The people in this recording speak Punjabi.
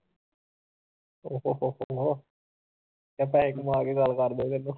ਕਹਿ ਪੈਸੇ ਕਮਾ ਕੇ ਗੱਲ ਕਰ ਦਓ ਮੈਨੂੰ